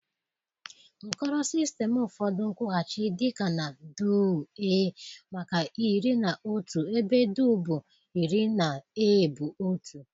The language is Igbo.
Nkoro System Ụfọdụ nkwughachi dị ka na Duu-ee maka iri na otu ebe Duu bụ iri na ee bụ otu.